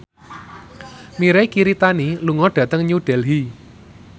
Mirei Kiritani lunga dhateng New Delhi